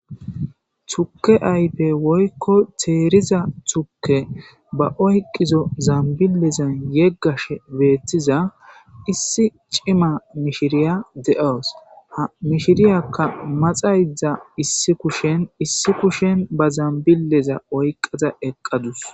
tukke aype woykko teeriza thuke ba oyqizo zambilezan yeggashe beetiza issi cima mishiriya de7oos ha mishiriyakka maxayzdza issi kushen issi kushen ba zambileza oyqada eqqadus